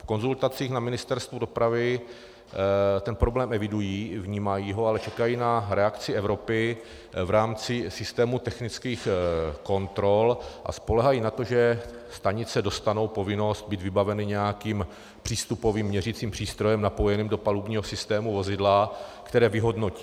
V konzultacích na Ministerstvu dopravy ten problém evidují, vnímají ho, ale čekají na reakci Evropy v rámci systému technických kontrol a spoléhají na to, že stanice dostanou povinnost být vybaveny nějakým přístupovým měřicím přístrojem napojeným do palubního systému vozidla, které vyhodnotí.